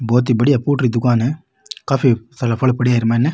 बहुत ही बढ़िया फूटरी दुकान है काफी सारा फल पड्या है एमाईने।